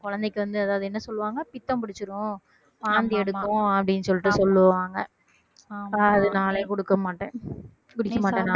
குழந்தைக்கு வந்து அதாவது என்ன சொல்லுவாங்க பித்தம் பிடிச்சிடும் வாந்தி எடுக்கும் அப்படின்னு சொல்லிட்டு சொல்லுவாங்க அதனாலே கொடுக்க மாட்டேன் குடிக்க மாட்டேன் நான்